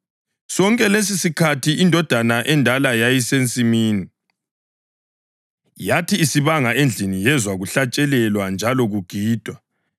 Sonke lesisikhathi indodana endala yayisensimini. Yathi isibanga endlini yezwa kuhlatshelelwa njalo kugidwa.